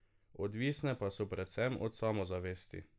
Odvisne pa so predvsem od samozavesti.